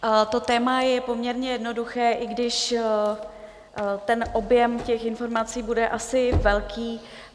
To téma je poměrně jednoduché, i když ten objem těch informací bude asi velký.